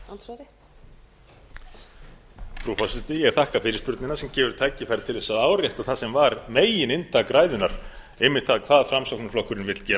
frú forseti ég þakka fyrirspurnina sem gefur tækifæri til þess að árétta það sem var megininntak ræðunnar einmitt það hvað framsóknarflokkurinn vill gera